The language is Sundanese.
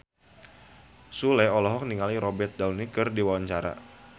Sule olohok ningali Robert Downey keur diwawancara